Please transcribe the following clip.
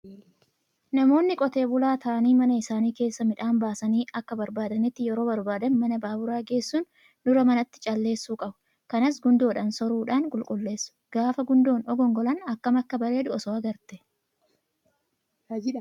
Namoonni qotee bulaa ta'anii mana isaanii keessaa midhaan baasanii akka barbaadanitti yeroo barbaadan mana baaburaa geessuun dura manatti calleessuu qabu. Kanas gundoodhaan soruudhaan qulqulleesu. Gaafa gundoon ogongolan akkam akka bareedu osoo agrtee.